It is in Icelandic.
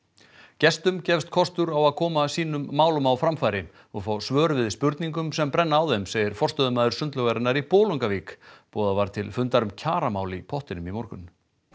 gestum gefst kostur á að koma sínum málum á framfæri og fá svör við spurningum sem brenna á þeim segir forstöðumaður sundlaugarinnar í Bolungarvík boðað var til fundar um kjaramál í pottinum í morgun